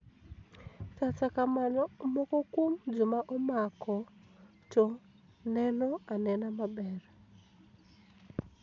kata kamano moko kuom joma omako to neno anena maber.